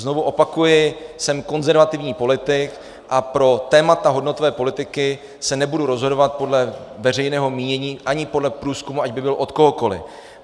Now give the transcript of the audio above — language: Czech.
Znovu opakuji, jsem konzervativní politik a pro témata hodnotové politiky se nebudu rozhodovat podle veřejného mínění ani podle průzkumu, ať by byl od kohokoli.